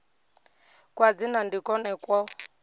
kwa dzina ndi kwone kwo